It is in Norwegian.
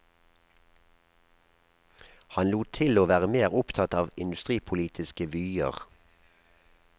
Han lot til å være mer opptatt av industripolitiske vyer.